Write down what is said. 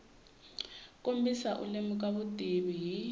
kombisa u lemuka vutivi hi